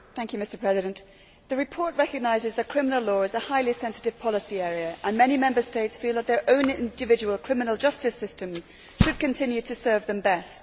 Mr President, the report recognises that criminal law is a highly sensitive policy area, and many Member States feel that their own individual criminal justice systems should continue to serve them best.